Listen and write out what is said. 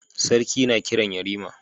Sarki na Kiran yarima